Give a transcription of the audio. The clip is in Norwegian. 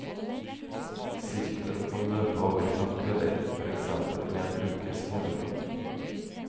Sirkelen kan løpe over fem kvelder, for eksempel med en ukes mellomrom.